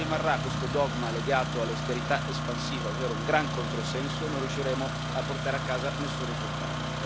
Ma finché rimarrà questo dogma legato all'austerità espansiva, ovvero un gran controsenso, non riusciremo a portare a casa nessun risultato.